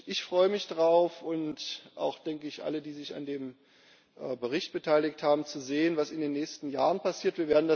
Ich freue mich darauf und wohl auch alle, die sich an dem Bericht beteiligt haben zu sehen, was in den nächsten Jahren passiert.